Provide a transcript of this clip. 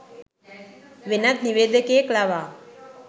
වෙනත් නිවේදකයෙක් ලවා